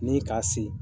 Ni k'a se